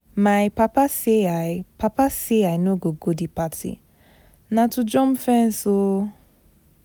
My papa say I papa say I no go go the party, na to jump fence oo